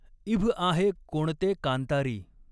इभ आहे कोणते कांतारी।